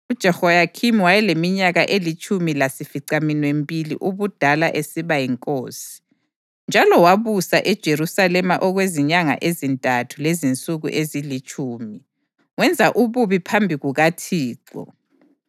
UJehoyakhini wayeleminyaka elitshumi lasificaminwembili ubudala esiba yinkosi, njalo wabusa eJerusalema okwezinyanga ezintathu lezinsuku ezilitshumi. Wenza ububi phambi kukaThixo.